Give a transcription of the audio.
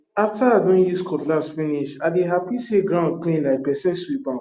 after i don use cutlass finish i dey happy say ground clean like person sweep am